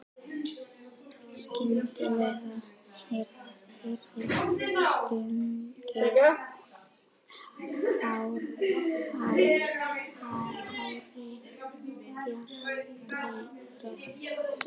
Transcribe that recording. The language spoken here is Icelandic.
Skyndilega heyrist sungið hárri, bjartri röddu.